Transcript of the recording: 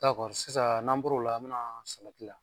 sisan n'an bɔro la, an be na salati la.